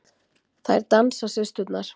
Þær dansa, systurnar.